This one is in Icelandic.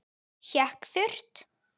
Hékk þurrt.